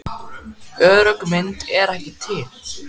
Örugg mynd er ekki til.